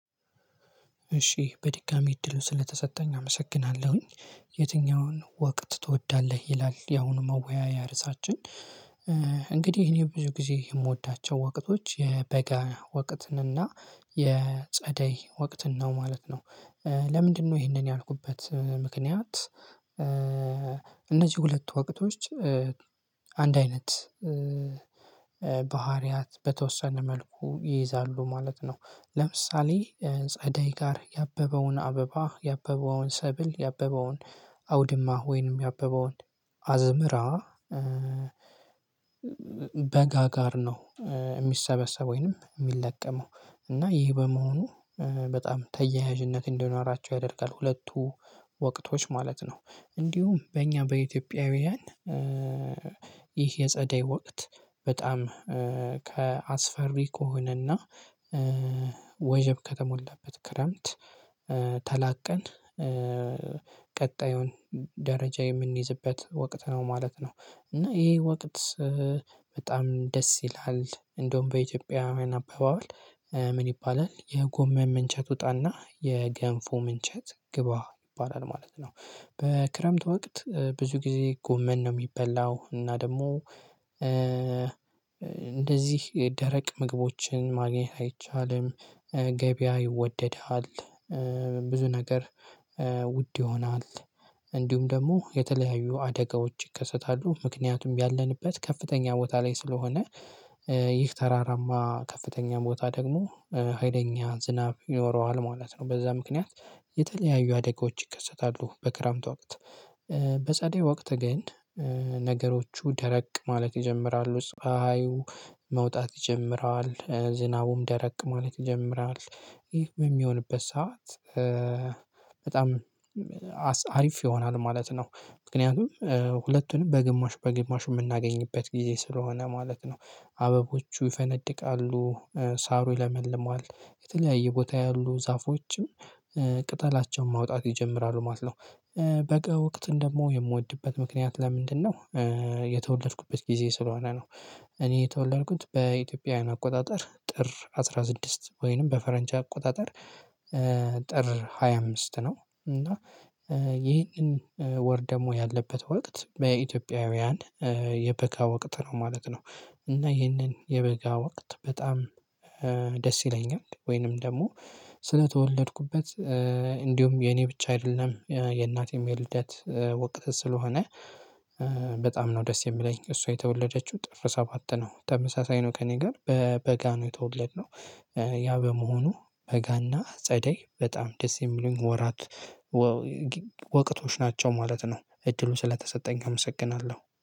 እሺ በድጋሚ እድሉ ስለተሰጠኝ አመሰግናለሁኝ። የትኛውን ወቅት ትወዳለህ ይላል? ያሁኑ መወያያ እርሳችን እንግዲህ እኔ ብዙ ጊዜ የምወዳቸው ወቅቶች የበጋ ወቅትን እና የጸደይ ወቅትን ነው ማለት ነው። ለምንድነው ይሄንን ያልኩበት ምክንያት? እነዚህ ሁለት ወቅቶች አንድ አይነት ባህሪያት በተወሰነ መልኩ ይይዛሉ ማለት ነው። ለምሳሌ ጸዳይ ጋር ያበበውን አበባ ያበበውን ሰብል ያበበውን አውድማ ወይንም ያበበውን አዝምራ በጋ ጋር ነው። የሚሰበሰበው ወይንም የሚለቀመው እና ይህ በመሆኑ በጣም ተያያዥነት እንደኖራቸው ያደርጋል ሁለቱ ወቅቶች ማለት ነው። እንዲሁም በእኛ በኢትዮጵያውያን ይህ የጸደይ ወቅት በጣም ከአስፈሪ ከሆነና ወይ ወጀብ ከተሞላበት ክረምት ተላቀን ቀጣዩን ደረጃ የምንይዝበት ወቅት ነው ማለት ነው። እና ይሄ ወቅት በጣም ደስ ይላል እንደውም በኢትዮጵያ አባባል ይባላል የጎመን ምንቸት ውጣና የገንፉ ምንቸት ግባ ይባላል ማለት ነው። በክረምት ወቅት ብዙ ጊዜ ጎመን ነው የሚበላው እና ደግሞ እንደዚህ የደረቅ ምግቦችን ማግኘት አይቻልም። ገበያ ይወደዳል ብዙ ነገር ውድ ይሆናል። እንዲሁም ደግሞ የተለያዩ አደጋዎች ይከሰታሉ ምክንያቱም ያለንበት ከፍተኛ ቦታ ላይ ስለሆነ። ይህ ተራራማ ከፍተኛ ቦታ ደግሞ ሀይለኛ ዝናብ ይኖረዋል ማለት ነው በዛ ምክንያት የተለያዩ አደጋዎች ይከሰታሉ በክረምቱ ወቅት። በጸደይ ወቅት ግን ነገሮቹ ደረቅ ማለት ይጀምራሉ ጸሀዩ መውጣት ይጀምራል ዝናቡም ደረቅ ማለት ይጀምራል። ይህ በሚሆንበት ሰዓት በጣም አሪፍ ይሆናል ማለት ነው። ምክንያቱም ሁለቱንም በግማሽ በግማሽ የምናገኝበት ጊዜ ስለሆነ ማለት ነው። አበቦቹ ይፈነድቃሉ ሳሩ ይለመልመዋል የተለያየ ቦታ ያሉ ዛፎችም ቅጠላቸውን ማውጣት ይጀምራሉ ማለት ነው። በጋ ወቅትን ደግሞ የምወድበት ምክንያት ለምንድነው? የተወለድኩበት ጊዜ ስለሆነ ነው። እኔ የተወለድኩት በኢትዮጵያውያን አቆጣጠር ጥር አስራ ስድስት ወይንም በፈረንጅ አቆጣጠር ጥር ሃያ አምስት ነው እና ይህንን ወር ደግሞ ያለበት ወቅት በኢትዮጵያውያን የበጋ ወቅት ነው ማለት ነው። እና ይህንን የበጋ ወቅት በጣም ደስ ይለኛል ወይንም ደግሞ ስለተወለድኩበት እንዲሁም የኔ ብቻ አይደለም የእናቴም የልደት ወቅት ስለሆነ። በጣም ነው ደስ የሚለኝ እሷ የተወለደችው ጥር ሰባት ነው ተመሳሳይ ነው ከእኔ ጋር በበጋ ነው የተወለድነው። ያ በመሆኑ በጋና ጸደይ በጣም ደስ የሚሉኝ ወራት ወቀቶች ናቸው ማለት ነው። እድሉን ስለተሰጠኝ አመሰግናለሁ